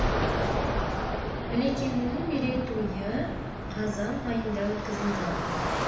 ілекеңнің мерейтойы қазан айында өткізілді